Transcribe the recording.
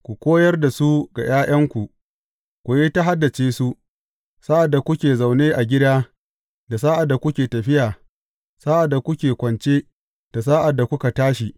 Ku koyar da su ga ’ya’yanku, ku yi ta haddace su, sa’ad da kuke zaune a gida, da sa’ad da kuke tafiya, sa’ad da kuke kwance, da sa’ad da kuka tashi.